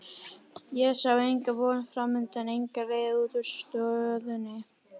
Ég sá enga von framundan, enga leið út úr stöðunni.